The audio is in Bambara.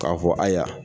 K'a fɔ ayiwa